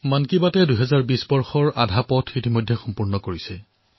মন কী বাতে ২০২০ বৰ্ষৰ অৰ্ধ পৰিক্ৰমা সম্পূৰ্ণ কৰিলে